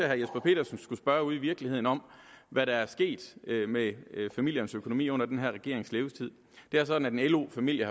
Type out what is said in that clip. herre jesper petersen skulle spørge ude i virkeligheden om hvad der er sket med familiernes økonomi under den her regerings levetid det er sådan at en lo familie